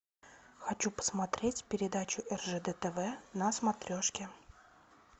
хочу посмотреть передачу ржд тв на смотрешке